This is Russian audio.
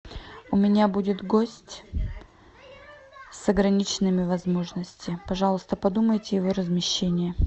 у меня будет гость с ограниченными возможностями пожалуйста подумайте о его размещении